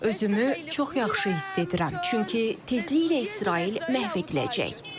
Özümü çox yaxşı hiss edirəm, çünki tezliklə İsrail məhv ediləcək.